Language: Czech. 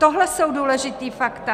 Tohle jsou důležitá fakta.